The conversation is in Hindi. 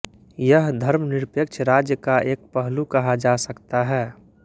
यह धर्मनिरपेक्ष राज्य का एक पहलू कहा जा सकता है